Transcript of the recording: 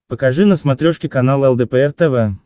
покажи на смотрешке канал лдпр тв